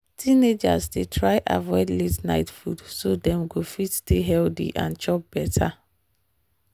teenagers dey try avoid late-night food so dem go fit stay healthy and chop better.